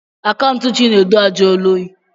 Akaụntụ Chinedu ajụọla oyi.